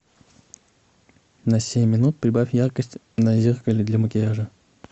на семь минут прибавь яркость на зеркале для макияжа